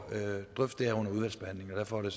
derfor er